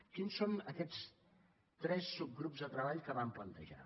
quins són aquests tres subgrups de treball que vam plantejar